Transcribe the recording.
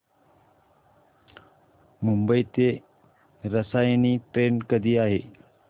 मुंबई ते रसायनी ट्रेन कधी आहे